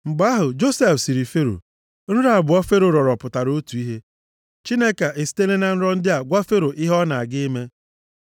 Mgbe ahụ, Josef sịrị Fero, “Nrọ abụọ Fero rọrọ pụtara otu ihe. Chineke esitela na nrọ ndị a gwa Fero ihe ọ na-aga ime.